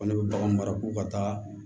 Ko ne bɛ bagan mara ko ka taa